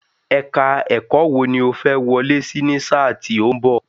Èka-ẹ̀kọ́ wò ni o fẹ́ wọlé sí ní sáà tí ó ń bọ̀?